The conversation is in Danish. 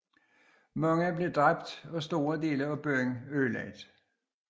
Mange blev dræbt og store dele af byen blev ødelagt